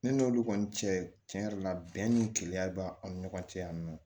Ne n'olu kɔni cɛ cɛn yɛrɛ la bɛn ni keleya b'an ni ɲɔgɔn cɛ yan nɔ